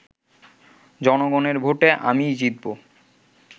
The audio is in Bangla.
জনগণের ভোটে আমিই জিতব